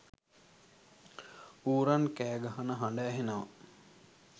ඌරන් කෑගහන හඬ ඇහෙනවා.